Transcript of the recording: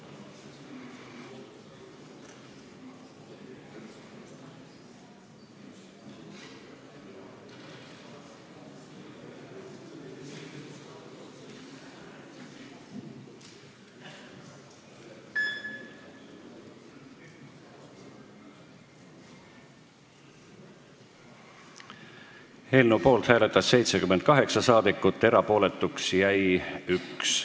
Hääletustulemused Eelnõu poolt hääletas 78 saadikut, erapooletuks jäi 1.